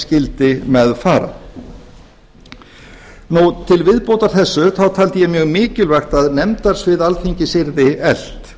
skyldi með fara til viðbótar þessu taldi ég mjög mikilvægt að nefndasvið alþingis yrði eflt